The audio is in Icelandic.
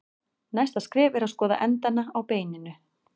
Næsta skref er að skoða endana á beininu.